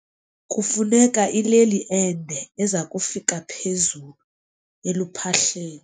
Kufuneka ileli ende eza kufika phezulu eluphahleni.